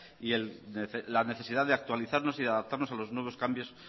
y la necesidad de actualizarnos y adaptarnos a los nuevos cambios